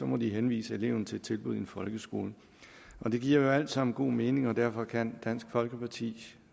må de henvise eleven til et tilbud i en folkeskole det giver alt sammen god mening og derfor kan dansk folkeparti